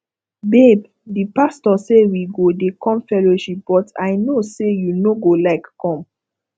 babe the pastor say we go dey come fellowship but i no say you no go like come